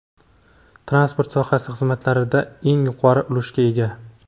Transport sohasi xizmatlarda eng yuqori ulushga ega.